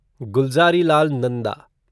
Gulzarilal Nanda